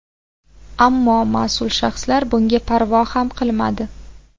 Ammo mas’ul shaxslar bunga parvo ham qilmadi.